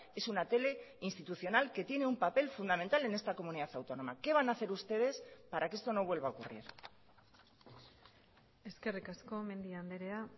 es una tele institucional que tiene un papel fundamental en esta comunidad autónoma qué van a hacer ustedes para que esto no vuelva a ocurrir eskerrik asko mendia andrea